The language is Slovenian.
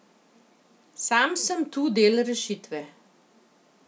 Sam sem tu del rešitve.